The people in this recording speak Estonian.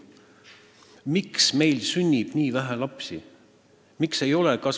Miks meil sünnib nii vähe lapsi?